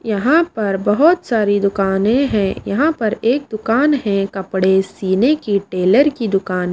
यहां पर बहोत सारी दुकानें हैं यहां पर एक दुकान है कपड़े सीने की टेलर की दुकान।